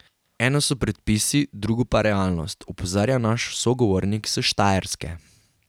Eno so predpisi, drugo pa realnost, opozarja naš sogovornik s Štajerske.